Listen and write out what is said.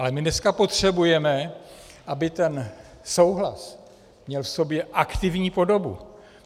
Ale my dneska potřebujeme, aby ten souhlas měl v sobě aktivní podobu.